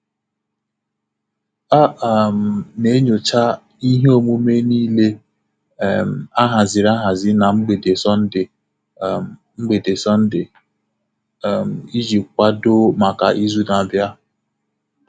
A um na m enyocha ihe omume niile um ahaziri ahazi na mgbede Sọnde um mgbede Sọnde um iji kwado maka izu na-abịa.